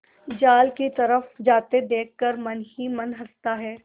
जाल की तरफ जाते देख कर मन ही मन हँसता है